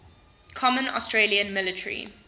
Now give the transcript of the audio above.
common australian military